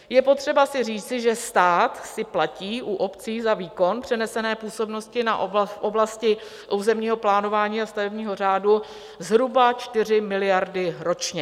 Je potřeba si říci, že stát si platí u obcí za výkon přenesené působnosti v oblasti územního plánování a stavebního řádu zhruba 4 miliardy ročně.